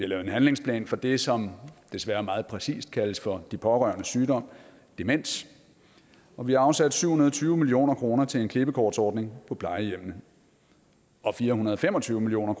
lavet en handlingsplan for det som desværre meget præcist kaldes for de pårørendes sygdom demens og vi har afsat syv hundrede og tyve million kroner til en klippekortsordning på plejehjemmene og fire hundrede og fem og tyve million